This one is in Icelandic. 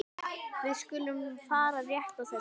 Við skulum fara rétt að þessu.